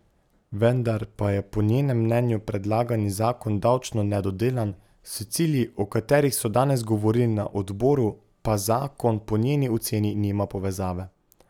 Vendar pa je po njenem mnenju predlagani zakon davčno nedodelan, s cilji, o katerih so danes govorili na odboru, pa zakon po njeni oceni nima povezave.